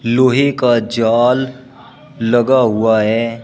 लोहे का जाल लगा हुआ है।